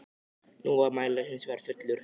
Nú var mælirinn hins vegar fullur.